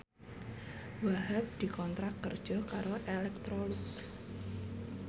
Wahhab dikontrak kerja karo Electrolux